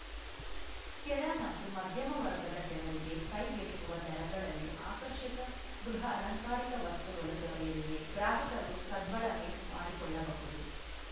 ಕೆಳ ಮತ್ತು ಮಧ್ಯಮ ವರ್ಗದ ಜನರಿಗೆ ಕೈಗೆಟಕುವ ದರಗಳಲ್ಲಿ ಆಕರ್ಷಕ ಗೃಹ ಅಲಂಕಾರಿಕ ವಸ್ತುಗಳು ದೊರೆಯಲಿವೆ ಗ್ರಾಹಕರು ಸದ್ಬಳಕೆ ಮಾಡಿಕೊಳ್ಳಬಹುದು